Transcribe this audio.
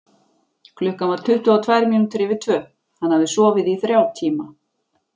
Klukkan var tuttugu og tvær mínútur yfir tvö, hann hafði sofið í þrjá tíma.